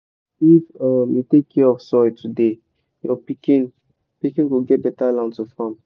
if um you take care of soil today your pikin pikin go get beta land to farm.